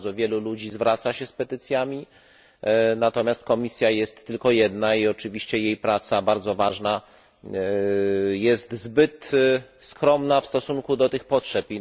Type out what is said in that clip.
Bardzo wielu ludzi zwraca się z petycjami, natomiast komisja jest tylko jedna i oczywiście jej praca, bardzo ważna, jest zbyt skromna w stosunku do tych potrzeb.